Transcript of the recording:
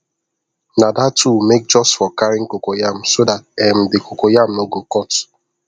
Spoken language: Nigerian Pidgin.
na that tool make just for carrying cocoyam so that um the coco yam no go cut